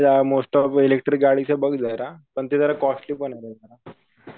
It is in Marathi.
मोस्ट ऑफ इलेकट्रीक गाडीचं बघ जरा पण ते जरा कॉस्टली पण